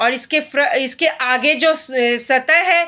और इसके आगे जो सतह है --